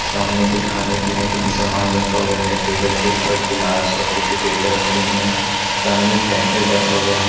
सामने कुछ खाने-पीने का भी सामान रखा हुआ हैं टेबल के ऊपर गिलास और टिश्यू पेपर रखी हुई हैं सामने एक केशियर बैठा हुआ हैं--